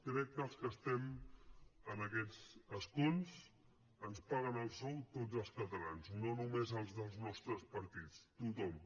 crec que als que estem en aquests escons ens paguen el sou tots els catalans no només els dels nostres partits tothom